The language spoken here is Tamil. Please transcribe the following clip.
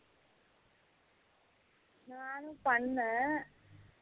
நானும் பன்னேன்